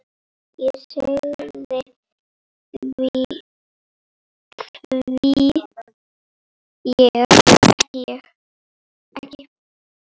Ég sagði: Hví ekki?